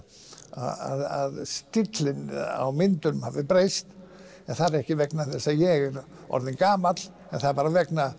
að stíllinn á myndunum hafi breyst en það er ekki vegna þess að ég er orðinn gamall það er bara vegna